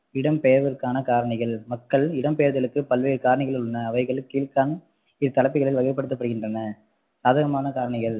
இடம்பெயர்வுக்கான காரணிகள் மக்கள் இடம்பெயர்தலுக்கு பல்வேறு காரணிகள் உள்ளன அவைகள் வகைப்படுத்தப்படுகின்றன சாதகமான காரணிகள்